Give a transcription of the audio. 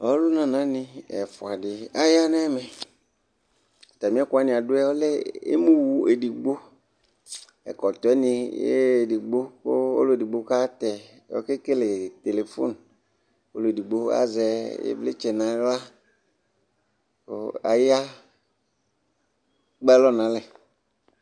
ɔlòna na ni ɛfua di aya n'ɛmɛ atami ɛkò wani adu yɛ emu wò edigbo ɛkɔtɔ yɛ ni edigbo kò ɔlò edigbo ka tɛ ɔke kele telefon k'ɔlò edigbo azɛ ivlitsɛ n'ala kò aya ekpe alɔ n'alɛ